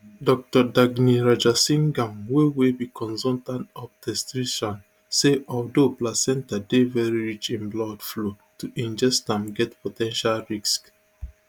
dr daghni rajasingam wey wey be consultant obstetrician say although placenta dey veri rich in blood flow to ingest am get po ten tial risks